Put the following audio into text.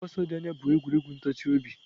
Ịgba ọsọ dị anya bụ egwuregwu ntachi obi.